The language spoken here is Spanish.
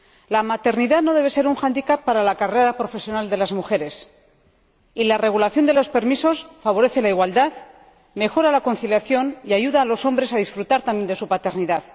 La maternidad no debe ser un para la carrera profesional de las mujeres, y la regulación de los permisos favorece la igualdad, mejora la conciliación y ayuda a los hombres a disfrutar también de su paternidad.